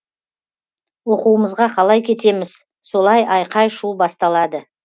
оқуымызға қалай кетеміз солай айқай шу басталады